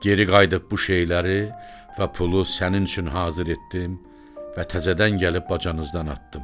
Geri qayıdıb bu şeyləri və pulu sənin üçün hazır etdim və təzədən gəlib bacanızdan atdım.